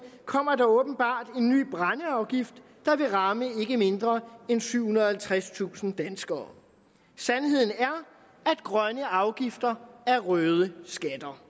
kommer der åbenbart en ny brændeafgift der vil ramme ikke mindre end syvhundrede og halvtredstusind danskere sandheden er at grønne afgifter er røde skatter